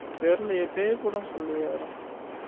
தெரியலையே பேய் படம்னு சொல்லலையே யாரும்